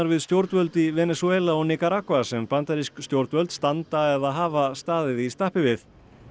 við stjórnvöld í Venesúela og Níkaragva sem bandarísk stjórnvöld standa eða hafa staðið í stappi við